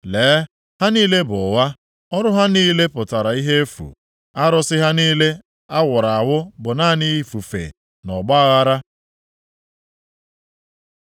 Lee, ha niile bụ ụgha! Ọrụ ha niile pụtara ihe efu, arụsị ha niile awuru awu bụ naanị ifufe na ọgbaaghara.